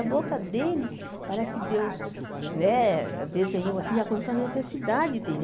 A boca dele parece que Deus né desenhou assim de acordo com a necessidade dele.